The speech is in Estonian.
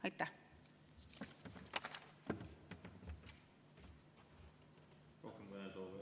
Aitäh!